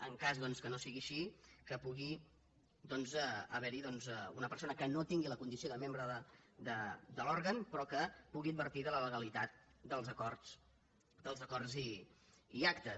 en cas doncs que no sigui així que pugui doncs haver·hi una persona que no tingui la condició de membre de l’òrgan però que pu·gui advertir de la legalitat dels acords i actes